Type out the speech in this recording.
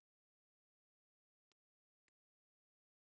Átti ekki orð.